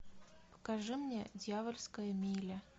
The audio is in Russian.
покажи мне дьявольская миля